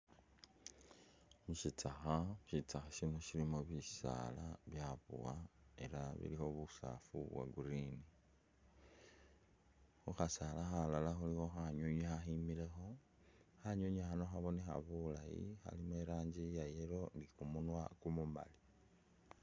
Mu'sitsakha, sitsakha sino silimo busaala bwabowa ela bulikho busaafu bwa'green, khukhasaala khalala khulikho khanywinywi khakhemilekho khanywinywi khano khabonekha bulaayi kalimo iranji iya yellow ni kumunwa kumumaali